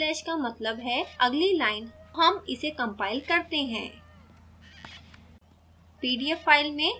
यहाँ double slash का मतलब है अगली line हम इसे compile करते हैं